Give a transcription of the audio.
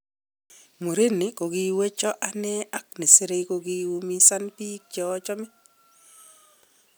"Murini kokiwechon ane ak nesire kokikoumisan bik cheochome."